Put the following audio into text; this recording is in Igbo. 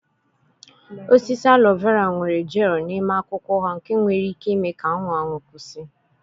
Osisi aloe vera nwere jel n'ime akwụkwọ ha nke nwere ike ime ka anwụ anwụ kwụsị.